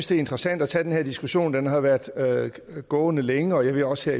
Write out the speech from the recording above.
det er interessant at tage den her diskussion den har været gående længe og jeg ved også at